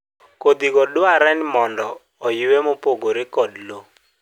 kodhi go dware ni mondo oyue mopogore kod law